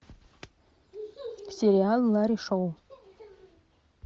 сериал ларри шоу